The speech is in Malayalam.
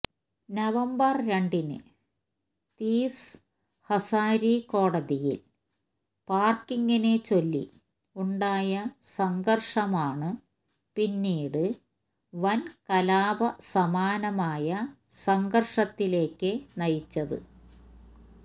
നവംബര് രണ്ടിന് തീസ് ഹസാരി കോടതിയില് പാര്ക്കിംഗിനെച്ചൊല്ലി ഉണ്ടായ സംഘര്ഷമാണ് പിന്നീട് വന് കലാപ സമാനമായ സംഘര്ഷത്തിലേക്ക് നയിച്ചത്